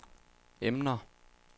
emner